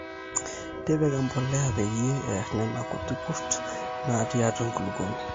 tipika empolea peyie eer nena kuti kurt naatii atua enkulukuoni